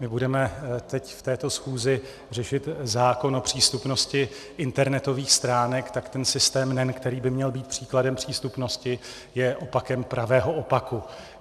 My budeme teď, v této schůzi, řešit zákon o přístupnosti internetových stránek, tak ten systém NEN, který by měl být příkladem přístupnosti, je opakem pravého opaku.